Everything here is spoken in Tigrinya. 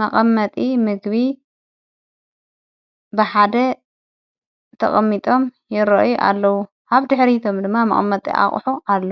መቐመጢ ምግቢ ብሓደ ተቐሚጦም ይሮአዩ ኣለዉ ሃብዲ ኅሪቶም ድማ መቐመጢ ኣቝሑ ኣሎ።